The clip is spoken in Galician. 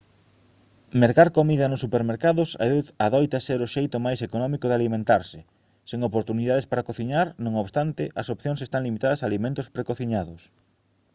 mercar comida nos supermercados adoita ser o xeito máis económico de alimentarse sen oportunidades para cociñar non obstante as opcións están limitadas a alimentos precociñados